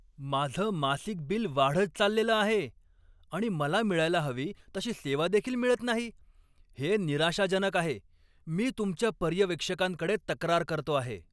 माझं मासिक बिल वाढत चाललेलं आहे आणि मला मिळायला हवी तशी सेवादेखील मिळत नाही हे निराशाजनक आहे. मी तुमच्या पर्यवेक्षकांकडे तक्रार करतो आहे.